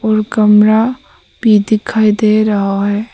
और कमरा भी दिखाई दे रहा है।